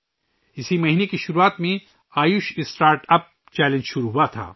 اسی مہینے کی شروعات میں آیوش اسٹارٹ اپ چیلنج شروع ہوا تھا